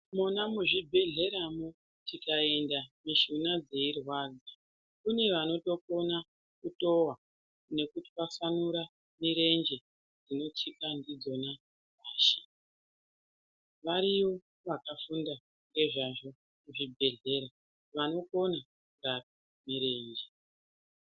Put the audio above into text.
Mona muzvibhedhleyamwo tikaenda mishuna dzeirwadza kune vanotokona kutowa nekutwasanura mirenje dzinotsika ndidzona pashi, variyo vakafunda ngeazvazvo kuzvibhedhleya vanokona kuita zviro izvi.